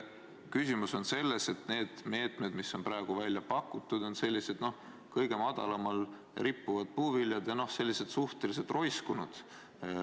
Küsimus on selles, et need meetmed, mis on praegu välja pakutud, on sellised kõige madalamal rippuvad puuviljad, mis on ka sellised suhteliselt roiskunud.